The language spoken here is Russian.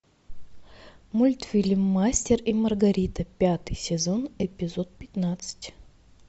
мультфильм мастер и маргарита пятый сезон эпизод пятнадцать